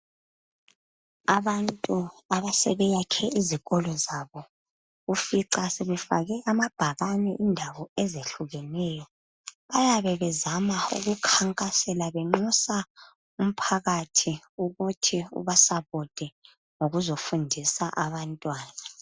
Abantu asebeyakhe izikolo zabo ufica sebefake amabhakani indawo ezehlukeneyo. Bayabe bezama ukukhankasela benxusa umphakathi ukuthi ubasapote ngokuzofundisa abantwana.